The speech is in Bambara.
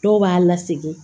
Dɔw b'a lasegin